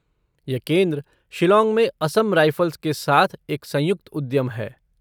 यह केंद्र शिलॉन्ग में असम राइफ़ल्स के साथ एक संयुक्त उद्यम है।